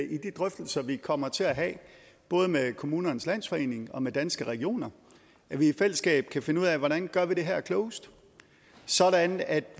i de drøftelser vi kommer til at have både med kommunernes landsforening og med danske regioner i fællesskab kan finde ud af hvordan vi gør det her klogest sådan at